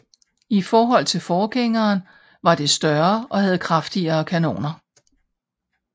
I forhold til forgængeren var det større og havde kraftigere kanoner